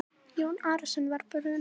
Jón Arason var brúnaþungur.